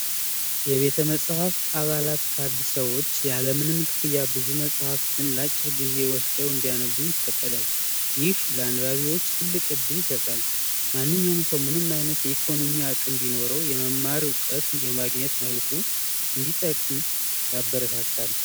የቤተ መጻሕፍት አባላት ካሉ ሰዎች ያለምንም ክፍያ ብዙ መጽሐፍትን ለአጭር ጊዜ ወስደው እንዲያነቡ ይፈቀዳል። ይህ ለአንባቢዎች ትልቅ እድል ይሰጣል። ማንኛውም ሰው ምንም አይነት የኢኮኖሚ አቅም ባይኖረውም እውቀት የማግኘት መብቱ እንዲጠቅም ያበረታታል።